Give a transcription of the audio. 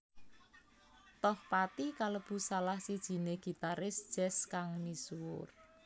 Tohpati kalebu salah sijiné gitaris jazz kang misuwur